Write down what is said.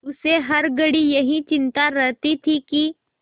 उसे हर घड़ी यही चिंता रहती थी कि